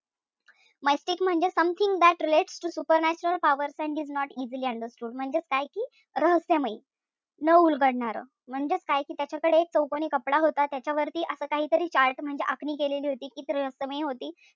Mystic म्हणजे Something relates to super natural powers and is not easily understood म्हणजेच काय की रहस्यमय, न उलगडणारं. म्हणजेच काय की त्याच्याकडे एक चौकोनी कपडा होता, त्याच्यावरती असं काही तरी chart म्हणजे आखणी केलेली होती, ती रहस्यमय होती.